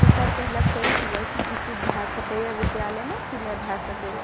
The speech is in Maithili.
ई सर पहले कह दिए की ई चीज़ भै सकै हिय विद्यालय में की नै भै सका हिये।